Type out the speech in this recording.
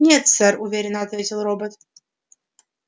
нет сэр уверенно ответил робот